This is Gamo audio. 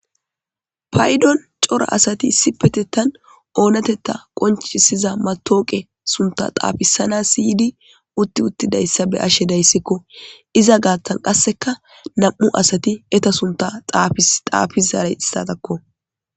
Paydon cora asati issipetettan oonatetta qonchisiza matooqe sunta xaafisana siydi utti uttidayssa be ashe dayssikko iza gaattan qasseka nam7u asati eta sunta xaafi zaaray istatakko.